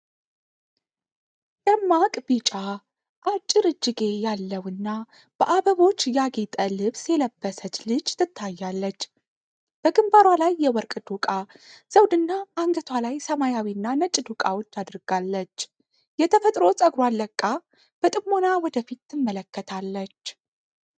ደማቅ ቢጫ፣ አጭር እጅጌ ያለው እና በአበቦች ያጌጠ ልብስ የለበሰች ልጅ ትታያለች። በግንባሯ ላይ የወርቅ ዶቃ ዘውድና አንገቷ ላይ ሰማያዊና ነጭ ዶቃዎች አድርጋለች። የተፈጥሮ ጸጉሯን ለቃ በጥሞና ወደ ፊት ትመለከታለች።